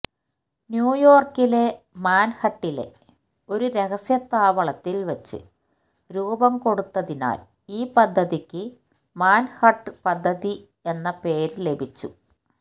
ന്യൂയോര്ക്കിലെ മാന്ഹട്ടനിലെ ഒരു രഹസ്യ താവളത്തില് വച്ച് രൂപം കൊടുത്തതിനാല് ഈ പദ്ധതിയ്ക്ക് മാന്ഹട്ടന് പദ്ധതി എന്ന പേര് ലഭിച്ചു